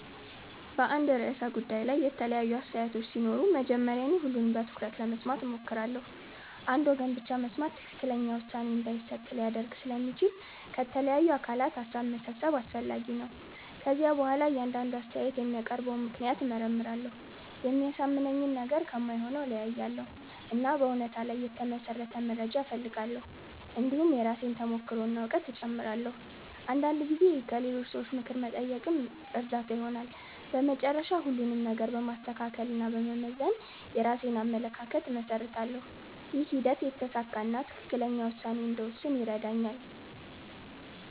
በአንድ ርዕሰ ጉዳይ ላይ የተለያዩ አስተያየቶች ሲኖሩ መጀመሪያ እኔ ሁሉንም በትኩረት ለመስማት እሞክራለሁ። አንድ ወገን ብቻ መስማት ትክክለኛ ውሳኔ እንዳይሰጥ ሊያደርግ ስለሚችል ከተለያዩ አካላት ሀሳብ መሰብሰብ አስፈላጊ ነው። ከዚያ በኋላ እያንዳንዱ አስተያየት የሚያቀርበውን ምክንያት እመርመራለሁ። የሚያሳምነኝን ነገር ከማይሆነው እለያያለሁ፣ እና በእውነታ ላይ የተመሠረተ መረጃ እፈልጋለሁ። እንዲሁም የራሴን ተሞክሮ እና እውቀት እጨምራለሁ። አንዳንድ ጊዜ ከሌሎች ሰዎች ምክር መጠየቅም እርዳታ ይሆናል። በመጨረሻ ሁሉንም ነገር በማስተካከል እና በመመዘን የራሴን አመለካከት እመሰርታለሁ። ይህ ሂደት የተሳካ እና ትክክለኛ ውሳኔ እንድወስን ይረዳኛል።